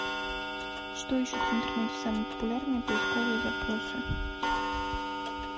что ищут в интернете самые популярные поисковые запросы